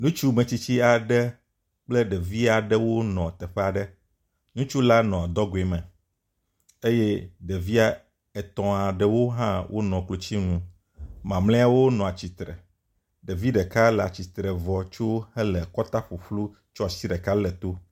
Ŋutsu metsitsi aɖe kple ɖevi aɖe wonɔ teƒe aɖe. Ŋutsu la nɔ dɔgɔe me eye ɖevia etɔ̃ aɖewo hã wonɔ klotsinu. Mamleawo nɔ atsitre. Ɖevi ɖeka le atsitre vɔ tso hele kɔta ƒuƒlu kɔ asi ɖeka le to.